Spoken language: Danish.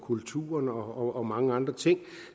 kulturen og mange andre ting